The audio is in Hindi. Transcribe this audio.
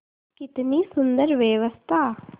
कितनी सुंदर व्यवस्था